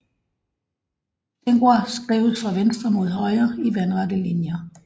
Tengwar skrives fra venstre mod højre i vandrette linjer